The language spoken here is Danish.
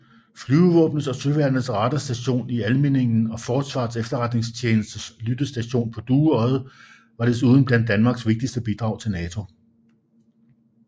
Flyvevåbnets og Søværnets radarstation i Almindingen og Forsvarets Efterretningstjenestes lyttestation på Dueodde var desuden blandt Danmarks vigtigste bidrag til NATO